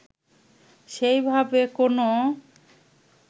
সেই ভাবে কোনও